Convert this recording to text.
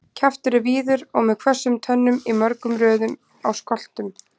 Kjaftur er víður og með hvössum tönnum í mörgum röðum á skoltum.